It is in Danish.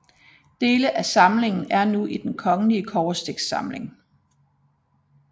Dele af samlingen er nu i Den Kongelige Kobberstiksamling